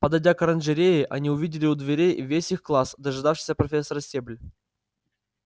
подойдя к оранжерее они увидели у дверей весь их класс дожидавшийся профессора стебль